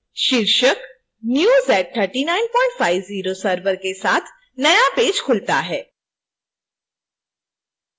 शीर्षक new z3950 server के साथ नया पेज खुलता है